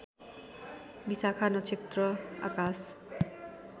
विशाखा नक्षत्र आकाश